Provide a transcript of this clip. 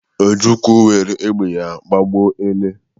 Ojukwu were egbe ya gbagbuo ele.